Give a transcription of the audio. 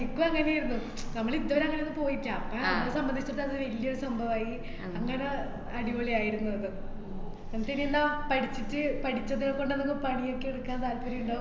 എന്ക്കും അങ്ങനേര്ന്നു. നമ്മൾ ഇതുവെര അങ്ങനെ പോയിട്ടില്ല. അപ്പോ നമ്മളെ സംബന്ധിച്ചിട്ട് അത് വല്യൊരു സംഭവായി, അങ്ങനെ അടിപൊളി ആയിരുന്നു അത്. എന്നിട്ടിനി എന്നാ പഠിച്ചിട്ട് പഠിച്ചത് കൊണ്ടന്നൊന്ന് പണി ഒക്കെ എടുക്കാൻ താല്പര്യോണ്ടോ